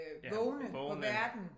Ja vågne